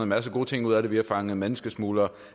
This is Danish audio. masse gode ting ud af det vi har fanget menneskesmuglere